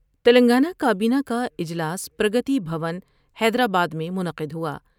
تلنگانہ کا بینہ کا اجلاس پرگتی بھون حیدرآباد میں منعقد ہوا ۔